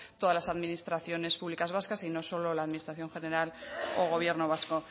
todas las administraciones públicas vascas y no solo la administración general o gobierno vasco